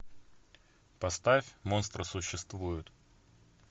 поставь монстры существуют